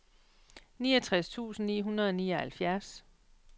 niogtres tusind ni hundrede og nioghalvfjerds